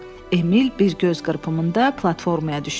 Emil bir göz qırpımında platformaya düşdü.